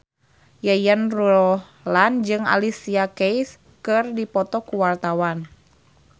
Yayan Ruhlan jeung Alicia Keys keur dipoto ku wartawan